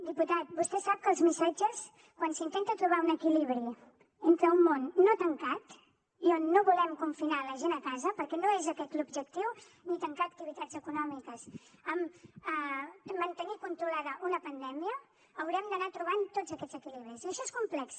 diputat vostè sap que els missatges quan s’intenta trobar un equilibri entre un món no tancat i on no volem confinar la gent a casa perquè no és aquest l’objectiu ni tancar activitats econòmiques mantenir controlada una pandèmia haurem d’anar trobant tots aquests equilibris i això és complex